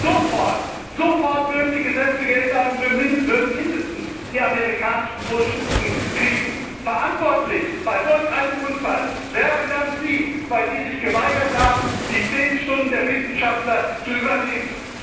Sofort würden die Gesetze geändert, und wir würden mindestens die amerikanischen Vorschriften bekommen. Verantwortlich für einen solchen Unfall wären dann Sie, weil Sie sich geweigert haben, die zehn Stunden der Wissenschaftler zu übernehmen!